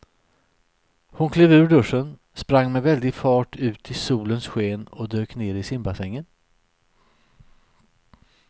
Hon klev ur duschen, sprang med väldig fart ut i solens sken och dök ner i simbassängen.